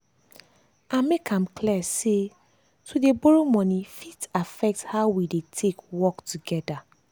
i make am clear say to dey borrow money fit affect how we go take work together.